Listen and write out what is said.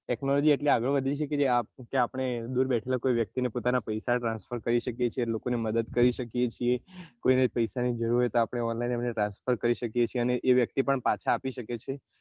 technology એટલી આગળ વધી ગઈ છે કે આપને દુર બેઠેલા કોઈ પોતાના પૈસા transfer કરી શકીએ છીએ લોકો ને મદદ કરી શકીએ છીએ કોઈ ને પૈસા ની જરૂર હોય તો online transfer કરી તે વ્યક્તિ પણ પાછા આપી શકે છે